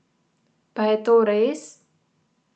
Pa je to res?